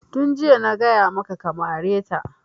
Tun jiya na gaya maka ka mare ta!